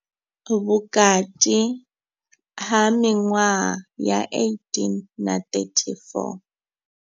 Vhukati ha miṅwaha ya 18 na 34.